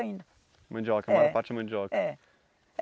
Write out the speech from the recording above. Mandioca, a maior parte é mandioca. É